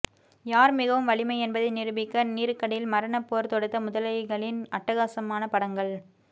யார் மிகவும் வலிமை என்பதை நிரூபிக்க நீருக்கடியில் மரண போர் தொடுத்த முதலைகளின் அட்டகாசமான படங்கள்